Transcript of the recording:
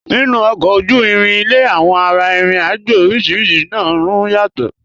Nínu ọ̀kọ ojú-ìrìn ilẹ̀, awọn ara-ìrìn-àjọ̀ orísíríṣì máa n rún yàtọ̀.